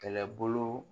Kɛlɛbolo